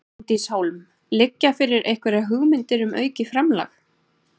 Bryndís Hólm: Liggja fyrir einhverjar hugmyndir um aukið framlag?